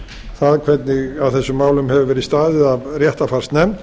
það hvernig að þessum málum hefur verið staðið af réttarfarsnefnd